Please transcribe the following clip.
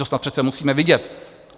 To snad přece musíme vidět!